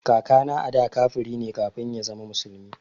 Kakana ada kafiri ne kafin ya zama musulmi